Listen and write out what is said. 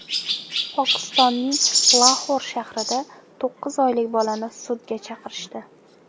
Pokistonning Laxor shahrida to‘qqiz oylik bolani sudga chaqirishdi.